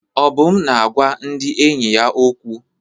Obum na-agwa ndị enyi ya okwu.